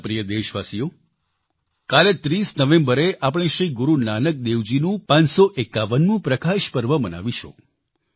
મારા પ્રિય દેશવાસીઓ કાલે 30 નવેમ્બરે આપણે શ્રી ગુરુ નાનક દેવજીનું 551મું પ્રકાશ પર્વ મનાવીશું